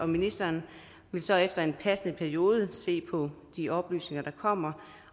ministeren vil så efter en passende periode se på de oplysninger der kommer